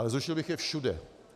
Ale zrušil bych je všude.